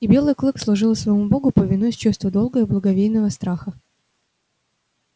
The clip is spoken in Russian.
и белый клык служил своему богу повинуясь чувству долга и благовейного страха